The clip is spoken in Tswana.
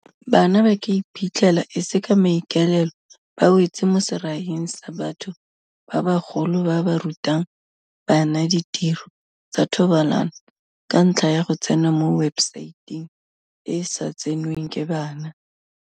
Bana ba ka iphitlhela e se ka maikaelelo ba wetse mo seraing sa batho ba bagolo ba ba rutang bana ditiro tsa thobalano ka ntlha ya go tsena mo webesaeteng e e sa tsenweng ke bana.